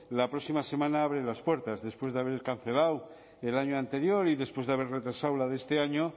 la próxima semana abre las puertas después de haber cancelado el año anterior y después de haber retrasado la de este año